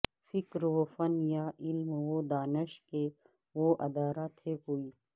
فکر و فن یا علم و دانش کے وہ ادارہ تھے کوئی